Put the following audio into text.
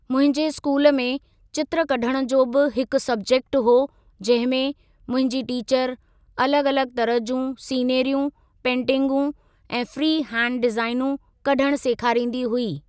मुंहिंजे स्कूल में चित्र कढण जो भी हिकु सबजेक्ट हो जंहिंमें मुंहिंजी टीचर अलॻ अलॻ तरह जूं सीनरियूं पेन्टींगूं ऐं फ्री हैण्ड डिज़ाइनू कढण सेखारींदी हुई।